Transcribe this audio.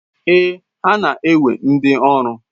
Ee, ha na-ewe ndi ọrụ.